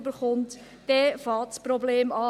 Dort beginnt das Problem.